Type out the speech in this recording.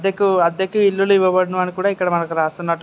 అద్దెకు అద్దెకు ఇల్లులు ఇవ్వబడును అని కూడా--